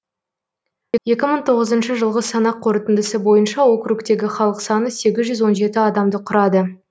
екі мың тоғызыншы жылғы санақ қорытындысы бойынша округтегі халық саны сегіз жүз он жеті адамды құрады